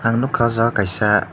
ang nogka o jaga kaisa.